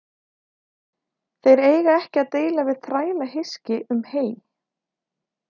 Þeir eiga ekki að deila við þrælahyski um hey.